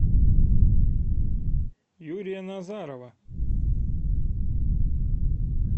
юрия назарова